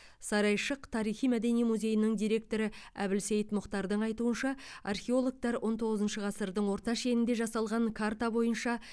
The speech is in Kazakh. сарайшық тарихи мәдени музейінің директоры әбілсейт мұхтардың айтуынша археологтар он тоғызыншы ғасырдың орта шенінде жасалған карта бойынша